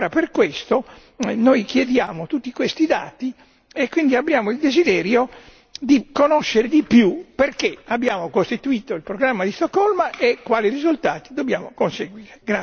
Per questo noi chiediamo tutti questi dati e quindi abbiamo il desiderio di conoscere di più il perché abbiamo costituito il programma di Stoccolma e quali risultati dobbiamo conseguire.